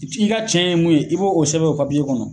I ka tiɲɛ ye mun ye , i be o sɛbɛn o kɔnɔ.